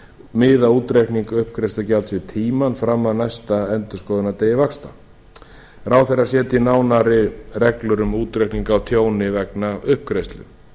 miða útreikning uppgreiðslugjalds við tímann fram að næsta endurskoðunardegi vaxta ráðherra setji nánari reglur um útreikning á tjóni vegna uppgreiðslu